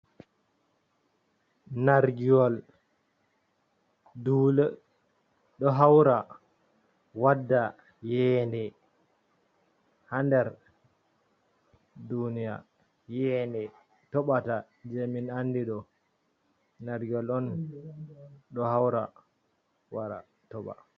Nargiyol, duule ɗo hawra, wadda iyeede ha nder duuniya, iyeede toɓata jee min andi ɗo nargiwol on ɗo hawra, wara toɓa.